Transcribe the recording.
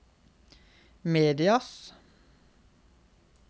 medias